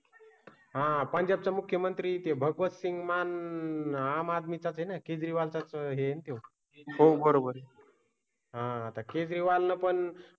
हा पंजाब चे मुख्यमंत्री ते भगवंत सिंग मान आम आदमी चा आहे ना? केजरीवाल चाच हेतू हो. बरोबर आहे. हां, आता केजरीवाल ना पण